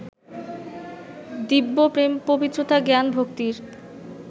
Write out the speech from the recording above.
দিব্য প্রেম-পবিত্রতা-জ্ঞান-ভক্তির